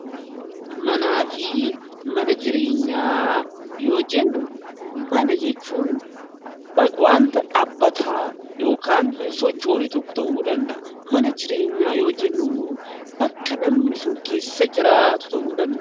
Manaa fi mana jireenyaa yoo jennu, mana jechuun waanta dhaabbataa yookiin hin sochoone tokko ta'uu danda'a. Mana jireenyaa yoo jennu immoo bakka namni sun keessa jiraatu ta'uu danda'a.